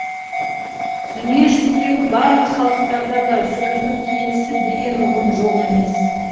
дүниежүзіндегі барлық халықтарда да сөздің киесі деген ұғым жоқ емес